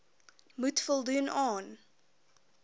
moet voldoen aan